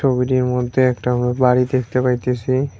ছবিটির মধ্যে একটা ব বাড়ি দেখতে পাইতেসি।